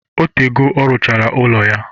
Otego ọ rụchara ụlọ ya